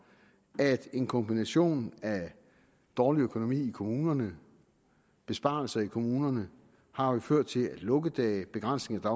at en kombination af dårlig økonomi i kommunerne besparelser i kommunerne har ført til at lukkedage begrænsning af